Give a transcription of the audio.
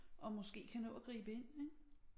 Og måske kan nå at gribe ind ik